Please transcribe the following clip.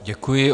Děkuji.